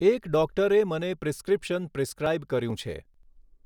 એક ડૉક્ટરે મને પ્રિસ્ક્રિપ્શન પ્રિસ્ક્રાઈબ કર્યું છે.